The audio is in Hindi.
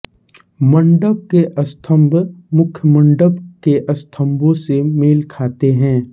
मंडप के स्तंभ मुखमंडप के स्तंभों से मेल खाते हैं